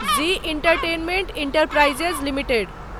ji entertainment enterprises limited